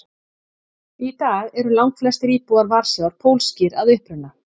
Í dag eru langflestir íbúar Varsjár pólskir að uppruna.